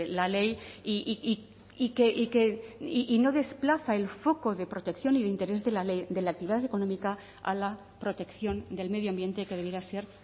la ley y no desplaza el foco de protección y de interés de la ley de la actividad económica a la protección del medio ambiente que debiera ser